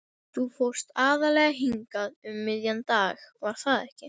Þú fórst aðallega hingað um miðjan dag, var það ekki?